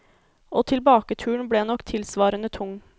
Og tilbaketuren ble nok tilsvarende tung.